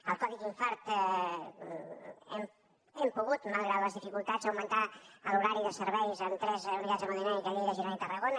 el codi infart hem pogut malgrat les dificultats augmentar l’horari de serveis en tres unitats d’hemodinàmica a lleida girona i tarragona